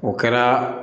O kɛra